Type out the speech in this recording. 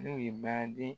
N'u ye badi